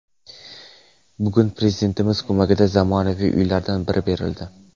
Bugun Prezidentimiz ko‘magida zamonaviy uylardan biri berildi.